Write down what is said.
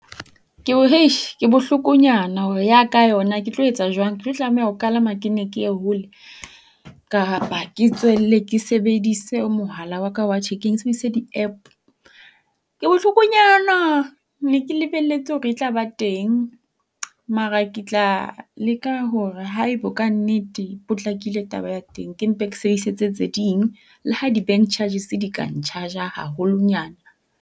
Ke bohlokonyana hore ya ka yona, ke etlo etsa jwang? Ke tlo tlameha ho kalama ke nne ke ye hole? Kapa ke tswelle ke sebedise mohala wa ka wa thekeng, ke sebedise di-App? Ke bohlokonyana. Ne ke lebeletse hore e tla ba teng. Mara ke tla leka hore haebo kannete e potlakile taba ya teng ke mpe ke sebedise tse tse ding le ha di-bank charges di ka n-charge-a haholonyana.